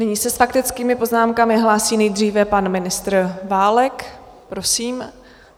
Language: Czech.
Nyní se s faktickými poznámkami hlásí nejdříve pan ministr Válek, prosím.